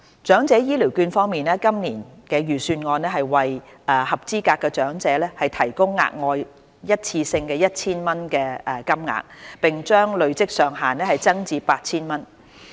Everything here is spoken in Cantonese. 長者醫療券方面，今年財政預算案會為合資格長者提供額外一次性 1,000 元金額，並將累積上限增至 8,000 元。